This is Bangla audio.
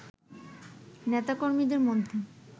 নেতা কর্মীদের মধ্যে